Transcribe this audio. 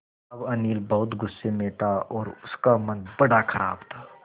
अब अनिल बहुत गु़स्से में था और उसका मन बड़ा ख़राब था